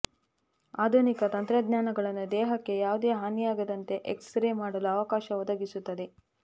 ಆಧುನಿಕ ತಂತ್ರಜ್ಞಾನಗಳನ್ನು ದೇಹಕ್ಕೆ ಯಾವುದೇ ಹಾನಿಯಾಗದಂತೆ ಎಕ್ಸ್ ರೇ ಮಾಡಲು ಅವಕಾಶ ಒದಗಿಸುತ್ತದೆ